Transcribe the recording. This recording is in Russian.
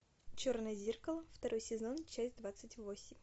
черное зеркало второй сезон часть двадцать восемь